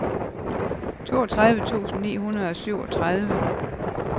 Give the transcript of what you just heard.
toogtredive tusind ni hundrede og syvogtredive